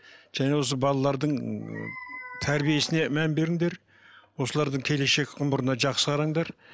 және осы балалардың тәрбиесіне мән беріңдер осылардың келешек ғұмырына жақсы қараңдар